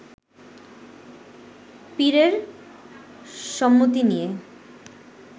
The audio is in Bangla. পীরের সম্মতি নিয়ে